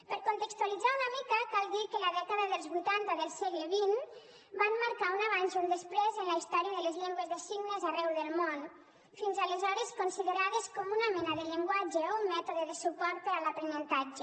per contextualitzar una mica cal dir que la dècada dels vuitanta del segle xx va marcar un abans i un després en la història de les llengües de signes arreu del món fins aleshores considerades com una mena de llenguatge o un mètode de suport per a l’aprenentatge